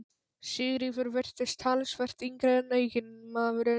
Sigríður virtist talsvert yngri en eiginmaðurinn.